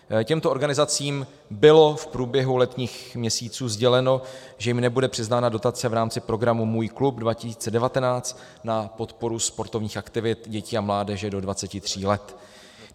Těmto organizacím bylo v průběhu letních měsíců sděleno, že jim nebude přiznána dotace v rámci programu Můj klub 2019 na podporu sportovních aktivit dětí a mládeže do 23 let.